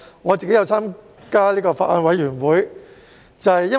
我也有加入法案委員會。